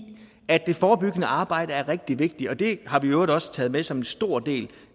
at det forebyggende arbejde er rigtig vigtigt og det har vi i øvrigt også taget med som en stor del